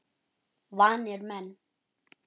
Vanir menn.